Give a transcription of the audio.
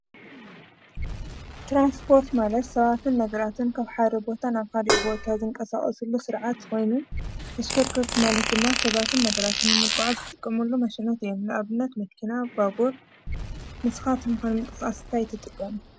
ትራንስፖርት ማለት ሰባትን ነገራትን ካብ ሓደ ቦታ ናብ ካልእ ቦታ ዝንቀሳቀስሉ ስርዓት ኮይኑ፣ ተሽከርከርቲ ማለት ድማ ሰባትን ነገራትን ዝተፈላለዩ ነገራት ንምጉዓዝ እንጥቀመሉ ማሽናት እዮም፣ ንኣብነት መኪና፣ ባቡር። ንስካትኩም ከ ንምንቅስቃስ እንታይ ትጥቀሙ?